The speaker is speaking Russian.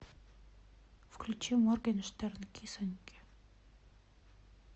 включи моргенштерн кисоньке